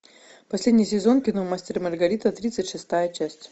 последний сезон кино мастер и маргарита тридцать шестая часть